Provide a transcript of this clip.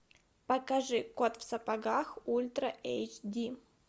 покажи кот в сапогах ультра эйч ди